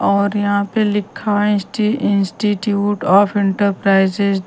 और यहाँ पे लिखा हैं इंस्टी इंस्टिट्यूट ऑफ़ इंटरप्राइजेज --